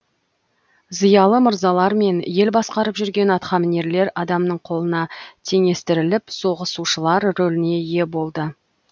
зиялы мырзалар мен ел басқарып жүрген атқамінерлер адамның колына теңестіріліп соғысушылар рөліне ие болды